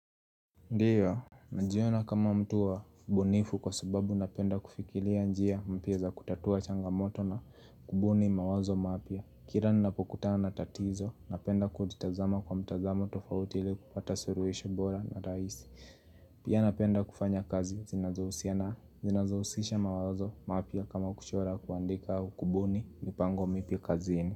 Ndiyo, najiona kama mtu wa bunifu kwa sababu napenda kufikiria njia mpia za kutatua changamoto na kubuni mawazo maapia. Kira ninapokutana na tatizo, napenda kutitazama kwa mtazamo tofauti ili kupata suruhisho bora na raihisi. Pia napenda kufanya kazi zinazazohusiana zinazausisha mawazo maapia kama kuchora kuandika au kubuni mipango mipia kazini.